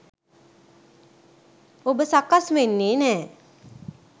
ඔබ සකස් වෙන්නෙ නෑ.